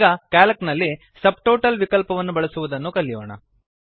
ಈಗ ಕ್ಯಾಲ್ಕ್ ನಲ್ಲಿ ಸಬ್ಟೋಟಲ್ ವಿಕಲ್ಪವನ್ನು ಬಳಸುವುದನ್ನು ಕಲಿಯೋಣ